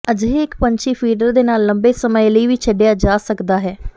ਅਜਿਹੇ ਇੱਕ ਪੰਛੀ ਫੀਡਰ ਦੇ ਨਾਲ ਲੰਬੇ ਸਮੇਂ ਲਈ ਵੀ ਛੱਡਿਆ ਜਾ ਸਕਦਾ ਹੈ